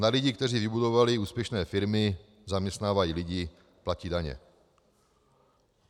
Na lidi, kteří vybudovali úspěšné firmy, zaměstnávají lidi, platí daně.